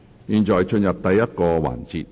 現在進入第一個環節。